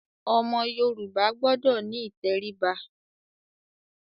Ọmọ Yorùbá gbọdọ̀ ní ìtẹríba.